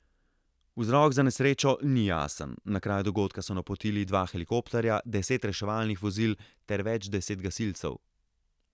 Vzrok za nesrečo ni jasen, na kraj dogodka so napotili dva helikopterja, deset reševalnih vozil ter več deset gasilcev.